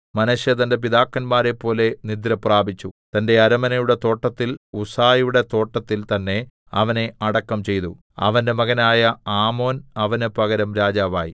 മനശ്ശെ തന്റെ പിതാക്കന്മാരെപ്പോലെ നിദ്രപ്രാപിച്ചു തന്റെ അരമനയുടെ തോട്ടത്തിൽ ഉസ്സയുടെ തോട്ടത്തിൽ തന്നേ അവനെ അടക്കം ചെയ്തു അവന്റെ മകനായ ആമോൻ അവന് പകരം രാജാവായി